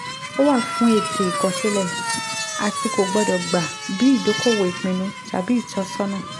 ó wà fún ète àkọsílẹ̀ àti kò gbọ́dọ̀ gba bí ìdókòwò ìpinnu tàbí ìtọ́sọ́nà.